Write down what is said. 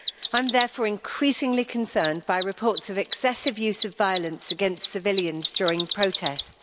I am therefore increasingly concerned by reports of excessive use of violence against civilians during protests.